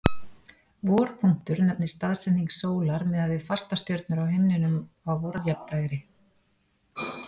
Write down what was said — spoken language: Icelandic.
vorpunktur nefnist staðsetning sólar miðað við fastastjörnur á himninum á vorjafndægri